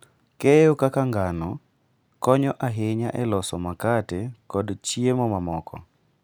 Keyo kaka ngano konyo ahinya e loso makate kod chiemo mamoko.